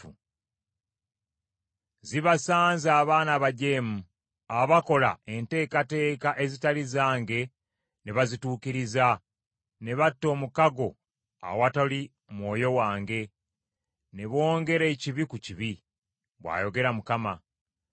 “Zibasanze abaana abajeemu, Abakola enteekateeka ezitali zange ne bazituukiriza ne batta omukago awatali Mwoyo wange ne bongera ekibi ku kibi,” bw’ayogera Mukama .